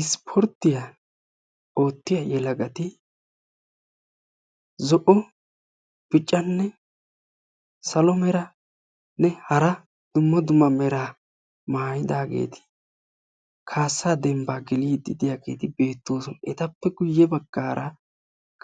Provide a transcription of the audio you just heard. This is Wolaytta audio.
Issippoorttiya ootiya yelagati zo"o, biccanne salo meranne hara dumma dumma meraa mayidaageti kaassaa dembbaa geliidi de'iyageeti beettoosona. Etappe guye baggaara